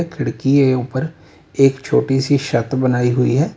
खिड़की है ऊपर एक छोटी सी छत बनाई हुई है।